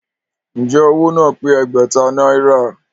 Ǹjẹ́ owó náà pé Ẹgbẹ̀ta náírà?